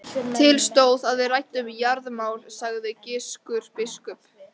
Til stóð að við ræddum jarðamál, sagði Gizur biskup.